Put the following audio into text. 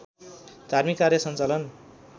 धार्मिक कार्य सञ्चालन